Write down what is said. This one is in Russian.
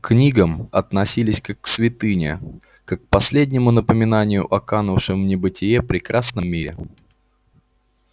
к книгам относились как к святыне как к последнему напоминанию о канувшем в небытие прекрасном мире